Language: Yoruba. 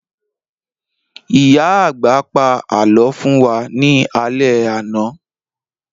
Ìyá àgbà pa àlọ́ fún wa ní alẹ́ àná